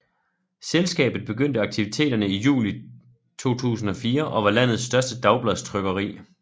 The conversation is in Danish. Selskabet begyndte akvititerne i juli 2004 og var landets største dagbladstrykkeri